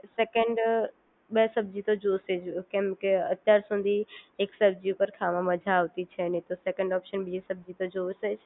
second બે સબ્જી તો જોશે જ કેમકે અત્યાર સુધી એક સબ્જી પર ખાવામાં મજા આવતી છે નહીં તો સેકન્ડ ઓપ્શન સબ્જી તો જોશેજ